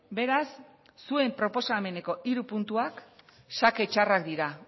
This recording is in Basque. beraz zuen proposameneko hiru puntuak xake txarrak dira